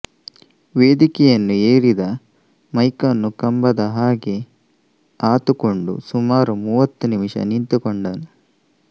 ವೇದಿಕೆಯನ್ನು ಏರಿದ ಮೈಕನ್ನು ಕಂಬದ ಹಾಗೆ ಆತುಕೊಂಡು ಸುಮಾರು ಮೂವತ್ತು ನಿಮಿಷ ನಿಂತುಕೊಂಡನು